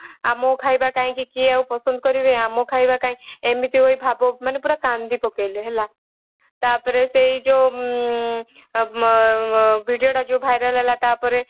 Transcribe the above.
ଆଉ ମୋ ଖାଇବା କିଏ ଆଉ କାହିଁକି ପସନ୍ଦ କରିବେ ଆମ ଖାଇବା କଇଁ ଏମିତି ହେଇ ଭାବ ମାନେ ପୁରା କାନ୍ଦି ପକେଇଲେ ହେଲା। ତାପରେ ସେଇ ଯୋଉ ଉଁ video ତ ଯୋଉ viral ହେଲା ତାପରେ